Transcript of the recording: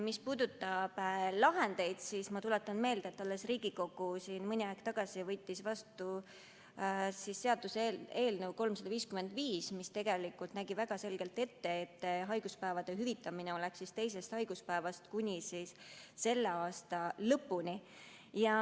Mis puudutab lahendeid, siis ma tuletan meelde, et Riigikogu alles mõni aeg tagasi võttis vastu seaduseelnõu 355, mis nägi väga selgelt ette, et haiguspäevade hüvitamine teisest päevast kestab kuni selle aasta lõpuni.